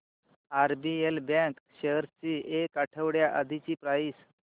RBL bank shares ची एक आठवड्या आधीची प्राइस